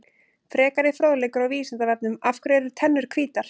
Frekari fróðleikur á Vísindavefnum: Af hverju eru tennur hvítar?